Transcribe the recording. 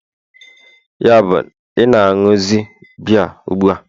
yabụ, ị na-ịnuzi biya ugbu a?